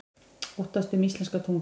Óttast um íslenska tungu